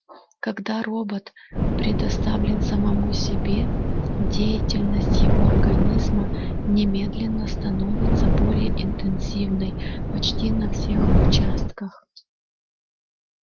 когда робот предоставлен самому себе деятельность его организма немедленно становится более интенсивной почти на всех участках